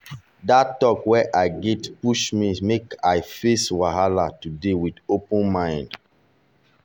that talk wey i get push me make i face today wahala with open mind.